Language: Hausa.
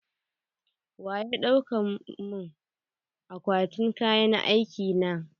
Waye dauka mun akwatin kayan aiki na?